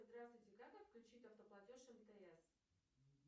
здравствуйте как отключить автоплатеж мтс